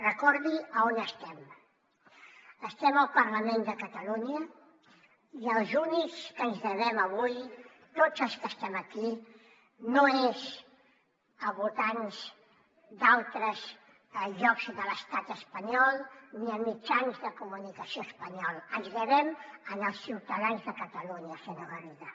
recordi a on estem estem al parlament de catalunya i als únics que ens devem avui tots els que estem aquí no és a votants d’altres llocs de l’estat espanyol ni a mitjans de comunicació espanyols ens devem als ciutadans de catalunya senyor garriga